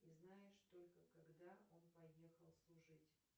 и знаешь только когда он поехал служить